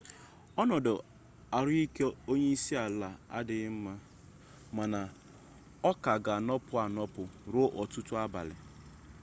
ọnọdụ ahụike onyeisiala adịla mma mana ọ ka ga-anọpụ anọpụ ruo ọtụtụ abalị